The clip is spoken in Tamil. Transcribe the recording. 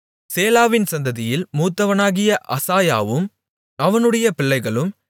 சேலாவின் சந்ததியில் மூத்தவனாகிய அசாயாவும் அவனுடைய பிள்ளைகளும்